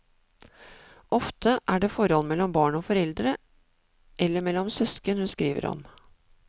Ofte er det forhold mellom barn og foreldre eller mellom søsken hun skriver om.